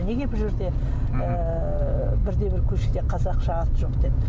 неге бұл жерде ыыы бірде бір көшеде қазақша ат жоқ деп